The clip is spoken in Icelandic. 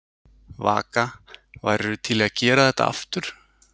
Vaka: Værirðu til í að gera þetta aftur?